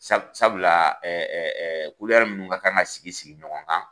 Sabula minnu ka kan ka sigi sigi ɲɔgɔn kan